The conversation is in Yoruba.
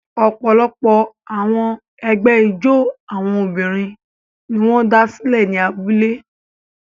Ọ̀pọ̀lọpọ̀ àwọn ẹgbẹ́ ijó àwọn obìnrin ni wọ́n dá sílẹ̀ ní abúlé.